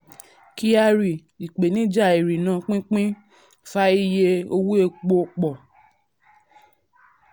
kyari: ìpèníjà ìrìnà/pínpín fa iye fa iye owó epo pọ̀.